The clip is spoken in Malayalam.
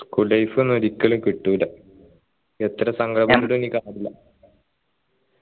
school life ഒന്നും ഒരിക്കലും കിട്ടൂല എത്ര സങ്കട പെട്ടിട്ടും ഇനി കാര്യമില്ല